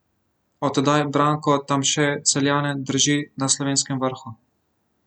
Od tedaj Branko Tamše Celjane drži na slovenskem vrhu.